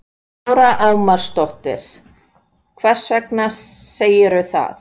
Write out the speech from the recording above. Lára Ómarsdóttir: Hvers vegna segirðu það?